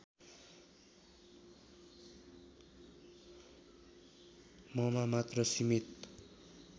ममा मात्र सिमित